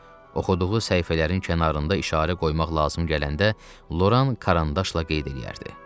Oxuduğu səhifələrin kənarında işarə qoymaq lazım gələndə Loran karandaşla qeyd eləyərdi.